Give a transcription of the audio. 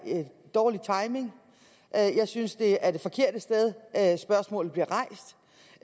dårlig timing jeg synes det er det forkerte sted spørgsmålet bliver rejst